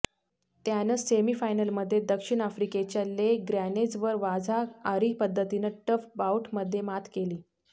त्यानं सेमी फायनलमध्ये दक्षिण आफ्रिकेच्या ले ग्रॅनेजवर वाझा अरी पद्धतीनं टफ बाऊटमध्ये मात केली